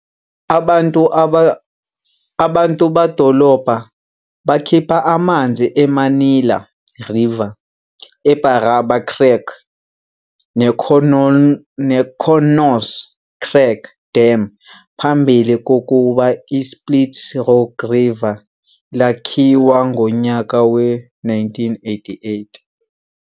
Abantu badolobha bakhipha amanzi eManilla River, eBarraba Creek, neConnors Creek Dam phambili kokuba ISplit Rock Dam lakhiwa ngonyaka we-1988.